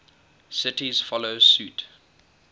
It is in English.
cities follow suit